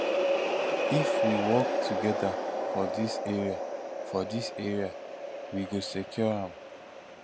if we work together for dis area for dis area we go secure am